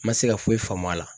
Ma se ka foyi faamu a la.